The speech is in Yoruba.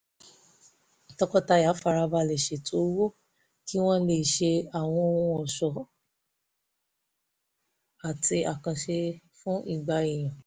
tọkọtaya fara balẹ̀ ṣètò owó kí wọ́n lè ṣe àwọn ohun ọ̀ṣọ́ àti àkànṣe àsè fún igba èèyàn